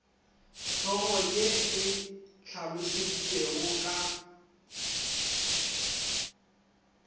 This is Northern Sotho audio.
hlogo ye e hlalositšwego ka